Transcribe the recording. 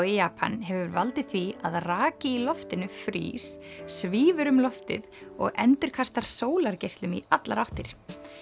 í Japan hefur valdið því að raki í loftinu frýs svífur um loftið og endurspeglar sólargeislum í allar áttir